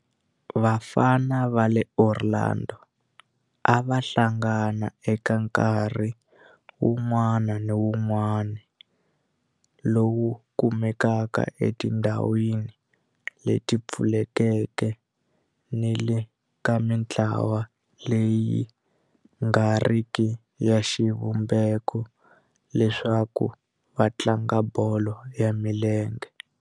Vafana va le Orlando a va hlangana eka nkarhi wun'wana ni wun'wana lowu kumekaka etindhawini leti pfulekeke ni le ka mintlawa leyi nga riki ya xivumbeko leswaku va tlanga bolo ya milenge.